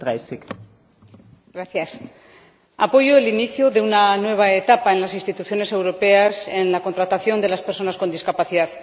Señora Presidenta, apoyo el inicio de una nueva etapa en las instituciones europeas en la contratación de las personas con discapacidad.